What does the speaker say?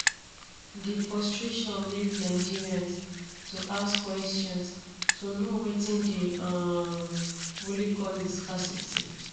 di frustrations make nigerians to ask questions to know wetin dey um really cause di scarcity